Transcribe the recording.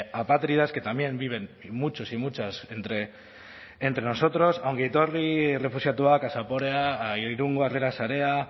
apátridas que también viven muchos y muchas entre nosotros a ongi etorri errefuxiatuak a zaporeak a irungo harrera sarea